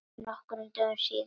Nokkrum dögum síðar.